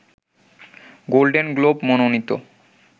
golden globe মনোনীত